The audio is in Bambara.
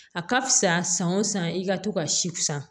A ka fisa san o san i ka to ka si fisa